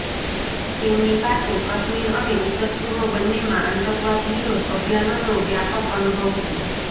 તેમની પાસે કશ્મીર અને ઉત્તર પૂર્વ બંન્નેમાં આતંકવાદ વિરોધ અભિયાનોનો વ્યાપક અનુભવ છે